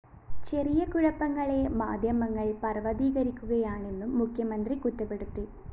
ചെറിയ കുഴപ്പങ്ങളെ മാധ്യമങ്ങള്‍ പര്‍വ്വതീകരിക്കുകയാണെന്നും മുഖ്യമന്ത്രി കുറ്റപ്പെടുത്തി